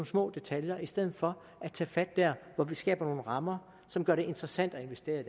små detaljer i stedet for at tage fat der hvor vi skaber nogle rammer som gør det interessant at investere i